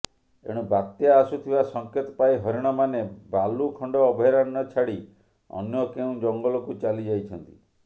ଏଣୁ ବାତ୍ୟା ଆସୁଥିବା ସଙ୍କେତ ପାଇ ହରିଣମାନେ ବାଲୁଖଣ୍ଡ ଅଭୟାରଣ୍ୟ ଛାଡ଼ି ଅନ୍ୟ କେଉଁ ଜଙ୍ଗଲକୁ ଚାଲି ଯାଇଛନ୍ତି